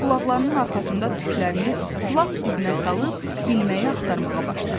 Sonra qulaqlarının arxasında tüklərini lap dibinə salıb ilməyi axtarmağa başladı.